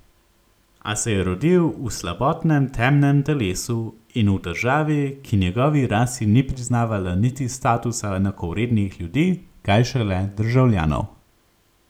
A se je rodil v slabotnem temnem telesu in v državi, ki njegovi rasi ni priznavala niti statusa enakovrednih ljudi, kaj šele državljanov.